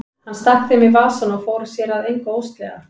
Hann stakk þeim í vasann og fór sér að engu óðslega.